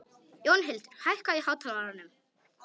Jónhildur, hækkaðu í hátalaranum.